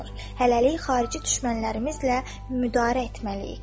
Hələlik xarici düşmənlərimizlə müdarə etməliyik.